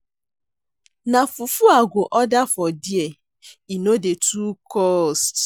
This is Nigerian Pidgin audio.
Na fufu I go order for there, e no dey too cost.